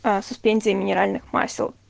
суспензия минеральных масел